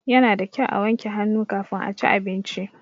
Ya na da kyau a wanke hannu kafin a ci abinci.